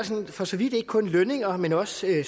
for så vidt ikke kun lønninger men også